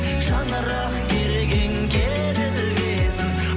шаңырақ керегең керілгесін